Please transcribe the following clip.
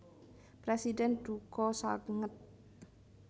Presiden duka sanget